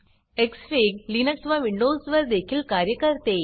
Xfig Linux व Windows वर देखील कार्य करते